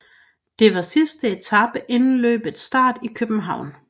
Det var sidste etape siden løbets start i København